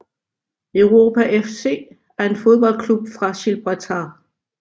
Europa FC er en fodboldklub fra Girbraltar